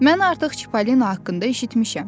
Mən artıq Çipolino haqqında eşitmişəm.